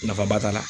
Nafa ba t'a la